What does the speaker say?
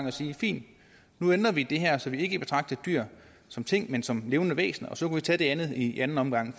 at sige fint nu ændrer vi det her så vi ikke betragter dyr som ting men som levende væsener og så kan vi tage det andet i anden omgang